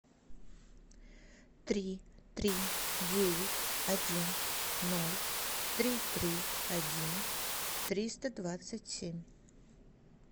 три три девять один ноль три три один триста двадцать семь